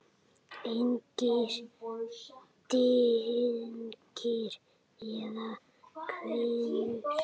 Engir dynkir eða hvinur.